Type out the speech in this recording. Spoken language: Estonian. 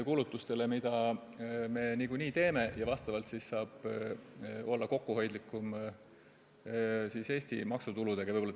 Selle võrra saab siis olla kokkuhoidlikum Eesti maksutulude kasutamisega.